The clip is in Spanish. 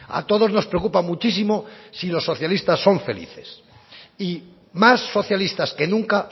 a todos nos preocupa muchísimo si los socialistas son felices y más socialistas que nunca